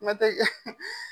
Kuma tɛ